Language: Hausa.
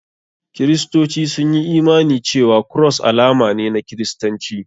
Kiristoci sun yi imani cewa Cross alama ne na kiristanci.